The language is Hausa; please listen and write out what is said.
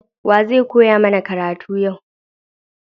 Wa zai koya mana karatu yau?